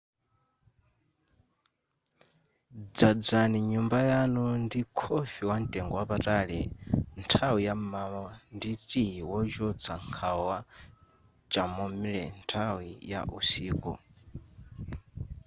dzadzani nyumba yanu ndi khofi wamtengo wapatali nthawi ya m'mawa ndi tiyi wochotsa nkhawa wa chamomile nthawi ya usiku